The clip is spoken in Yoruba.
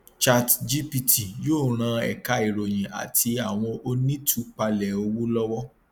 chatgpt yóò ràn ẹka ìròyìn àti àwọn onítúpalẹ owó lówọ